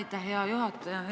Aitäh, hea juhataja!